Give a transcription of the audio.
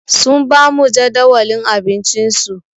Sun ba mu jadawalin abincinsu.